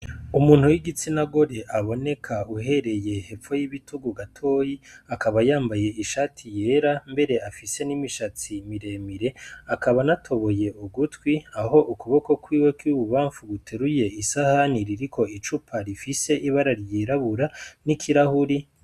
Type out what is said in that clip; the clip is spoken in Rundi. Umuntu w'igitsina gore aboneka uhereye hepfo y'ibitugu gatoyi, akaba yambaye ishati yera mbere afise n'imishatsi miremire. Akaba anatoboye ugutwi, aho ukuboko kwiwe kw'i bubanfu guteruye isahani iriko icupa rifise ibara ryirabura n'ikirahuri.